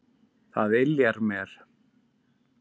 Það yljaði mér.